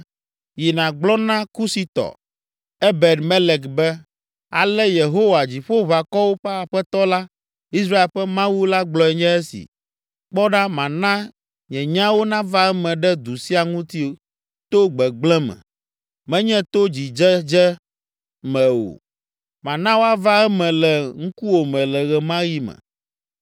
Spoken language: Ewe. “Yi nàgblɔ na Kusitɔ, Ebed Melek be, ‘Ale Yehowa, Dziƒoʋakɔwo ƒe Aƒetɔ la, Israel ƒe Mawu la gblɔe nye esi: Kpɔ ɖa mana nye nyawo nava eme ɖe du sia ŋuti to gbegblẽ me, menye to dzidzedze me o. Mana woava eme le ŋkuwòme le ɣe ma ɣi me.